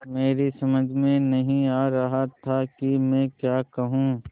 मेरी समझ में नहीं आ रहा था कि मैं क्या कहूँ